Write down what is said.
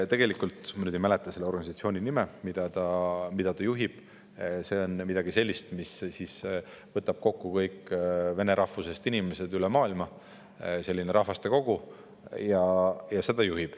Tegelikult see organisatsioon, mida ta juhib – ma nüüd ei mäleta täpselt selle nime –, on midagi sellist, mis võtab kokku kõik vene rahvusest inimesed üle maailma, selline rahvaste kogu.